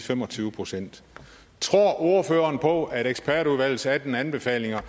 fem og tyve procent tror ordføreren på at ekspertudvalgets atten anbefalinger